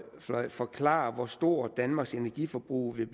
forklare hvor stort danmarks energiforbrug vil